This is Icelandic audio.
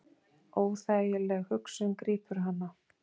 Óþægileg hugsun grípur hana.